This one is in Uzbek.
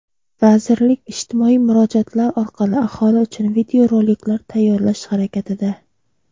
vazirlik ijtimoiy murojaatlar orqali aholi uchun videoroliklar tayyorlash harakatida.